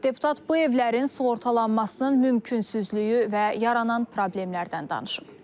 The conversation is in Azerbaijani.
Deputat bu evlərin sığortalanmasının mümkünsüzlüyü və yaranan problemlərdən danışıb.